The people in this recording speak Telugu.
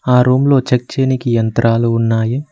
ఆ రూమ్ లో చెక్ చేయనీకి యంత్రాలు ఉన్నాయి.